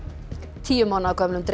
tíu mánaða gömlum dreng